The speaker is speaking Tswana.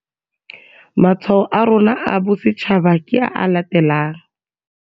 Matshwao a rona a Bosetšhaba ke a a latelang.